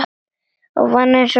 Ég vann einsog skepna.